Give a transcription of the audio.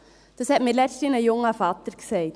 » Dies sagte letzthin ein junger Vater zu mir.